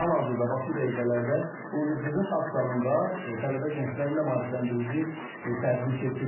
Hal-hazırda bax bu dəqiqələrdə Universitetin akt zalında tələbə-gənclərlə maarifləndirici tədbir keçirilir.